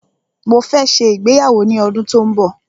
Mó fẹ́ ṣe ìgbéyàwó ní ọdún tó n bọ̀.